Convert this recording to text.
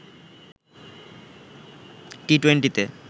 টি-টোয়েন্টিতে